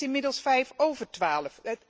Het is inmiddels vijf over twaalf.